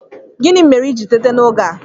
Gịnị mere i ji teta n'oge a?